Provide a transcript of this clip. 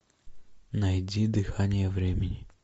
найди дыхание времени